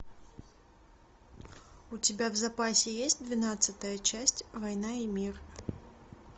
у тебя в запасе есть двенадцатая часть война и мир